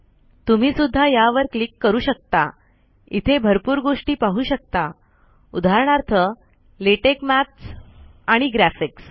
तुम्ही सुद्धा यावर क्लिक करू शकता इथे भरपूर गोष्टी पाहू शकता उदाहरणार्थ लेटेक मैत्स आणि ग्राफ़िक्स